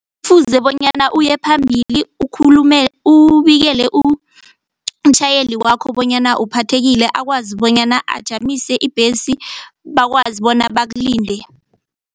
Kufuze bonyana uyephambili ubikele umtjhayeli wakho bonyana uphathekile akwazi bonyana ajamise ibhesi bakwazi bonyana bakulinde.